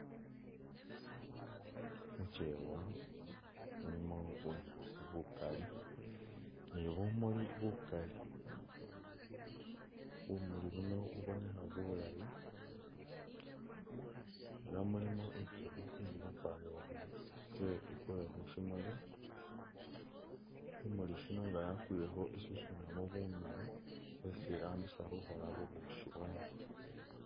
Muchewa, mulimo bunyaasi bukali ni bumuli bukali, bumuli buno bubonekha bulayi ela mulimo inzukhi ili khupamburukha i'tse i'kwe khusimuli, simuli shino i'nga yakwilekho, i'susunamo bunulu bwesi irambisa khukhola bubushi bwayo